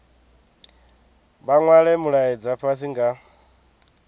vha nwale mulaedza fhasi nga